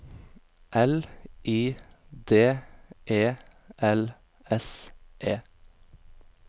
L I D E L S E